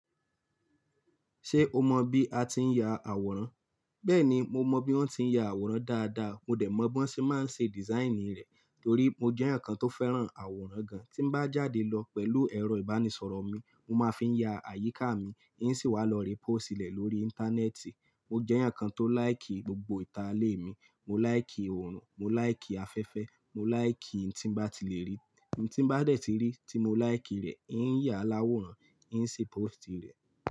Ṣé o mọ bí a ti ń ya àwòrán? Bẹ́ẹ̀ni, mo mọ bí wọ́n ti ń ya àwòrán dáadáa, mo dẹ̀ mọ̀ b'on ṣé máa ń ṣe dìsáìnì rẹ̀. Torí mo jẹ́ ẹyankan tó fẹ́ràn àwòrán gan. Tí m bá jáde lọ pẹ̀lú ẹ̀rọ ìbánisọ̀rọ̀ mi, mo máa fi ya àyíká mi, ihiń sì wá lọ rí pósìtì rẹ̀ lórí Íńtánẹ́ẹ̀tì. Mo jẹ́ ẹyankan tó láìkì gbogbo ìta lè mi. Mo láìkì òòrùn, mo láìkì afẹ́fẹ́, mo láìkì ohun tí ń bá ti lè rí. Ohun tí bá dẹ̀ ti rí tí mo láìkì rẹ̀, ì ń yà á láwòrán, ì ń ṣí pósìtì rẹ̀